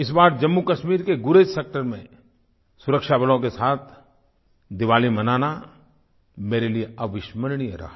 इस बार जम्मूकश्मीर के गुरेज़ सेक्टर में सुरक्षाबलों के साथ दिवाली मनाना मेरे लिए अविस्मरणीय रहा